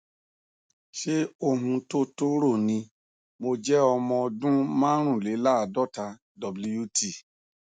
ṣé ohun tó tó rò ni mo jẹ ọmọ ọdún márùnléláàádọta wt